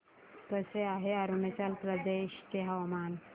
कसे आहे अरुणाचल प्रदेश चे हवामान